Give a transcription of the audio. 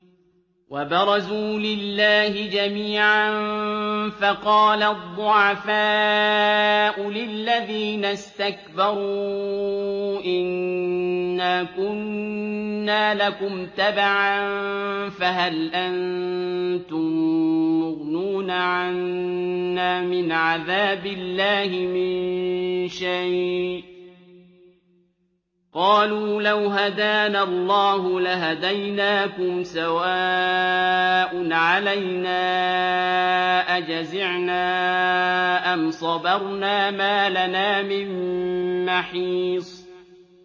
وَبَرَزُوا لِلَّهِ جَمِيعًا فَقَالَ الضُّعَفَاءُ لِلَّذِينَ اسْتَكْبَرُوا إِنَّا كُنَّا لَكُمْ تَبَعًا فَهَلْ أَنتُم مُّغْنُونَ عَنَّا مِنْ عَذَابِ اللَّهِ مِن شَيْءٍ ۚ قَالُوا لَوْ هَدَانَا اللَّهُ لَهَدَيْنَاكُمْ ۖ سَوَاءٌ عَلَيْنَا أَجَزِعْنَا أَمْ صَبَرْنَا مَا لَنَا مِن مَّحِيصٍ